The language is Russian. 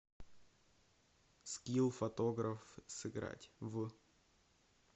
скилл фотограф сыграть в